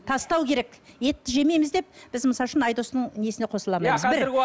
тастау керек етті жемейміз деп біз мысал үшін айдостың несіне қосыла алмаймыз бір